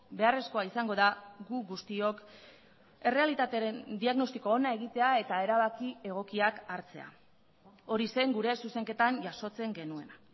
beharrezkoa izango da gu guztiok errealitatearen diagnostiko ona egitea eta erabaki egokiak hartzea hori zen gure zuzenketan jasotzen genuena